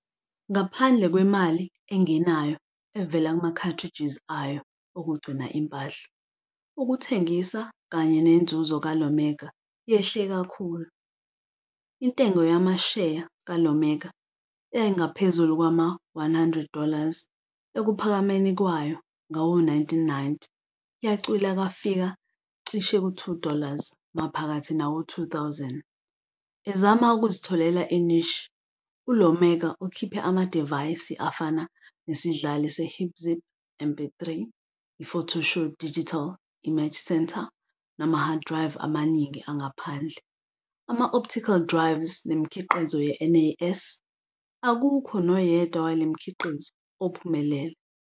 Ngaphandle kwemali engenayo evela kuma-cartridges ayo okugcina impahla, ukuthengisa kanye nenzuzo ka-Iomega yehle kakhulu. Intengo yamasheya ka-Iomega, eyayingaphezu kwama- 100 dollars ekuphakameni kwayo ngawo-1990, yacwila yafika cishe ku- 2 dollars maphakathi nawo-2000. Ezama ukuzitholela i-niche, u-Iomega ukhiphe amadivayisi afana nesidlali se-HipZip MP3, i-FotoShow Digital Image Center, nama-hard drive amaningi angaphandle, ama-optical drives nemikhiqizo ye-NAS. Akukho noyedwa wale mikhiqizo ophumelele.